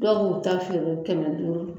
Dɔw b'u ta feere kɛmɛ duuru